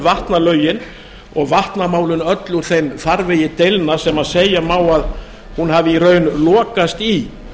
vatnalögin og vatnamálin öll úr þeim farvegi deilna sem segja má að hún hafi í raun lokast í